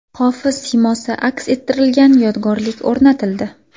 Hofiz siymosi aks ettirilgan yodgorlik o‘rnatildi.